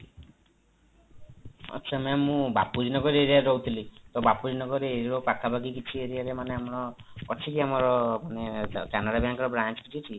ଆଚ୍ଛା ma'am ମୁଁ bapuji nagar area ରେ ରହୁଥିଲି ତ bapuji nagar area ପାଖାପାଖି କିଛି areaରେ ମାନେ ଆମର ଅଛି କି ଆମର canara bank ର branch କିଛି ଅଛି କି